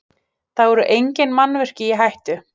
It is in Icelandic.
Þá eru engin mannvirki í hættu